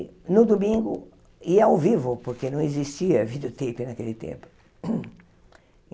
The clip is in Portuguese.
No domingo, ia ao vivo, porque não existia videotape naquele tempo.